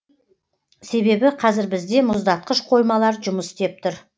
себебі қазір бізде мұздатқыш қоймалар жұмыс істеп тұр